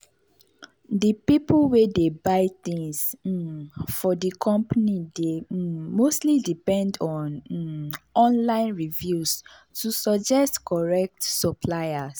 di pipu wey dey buy things um for di company dey um mostly depend on um online reviews to suggest correct suppliers.